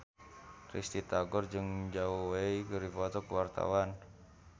Risty Tagor jeung Zhao Wei keur dipoto ku wartawan